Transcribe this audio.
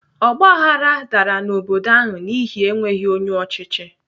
Ọgbaghrara dara n'obodo ahụ n'ihi enweghị onye ọchịchị.